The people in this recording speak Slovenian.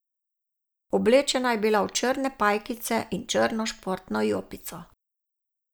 Oblečena je bila v črne pajkice in črno športno jopico.